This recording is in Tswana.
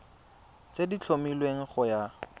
tse di tlhomilweng go ya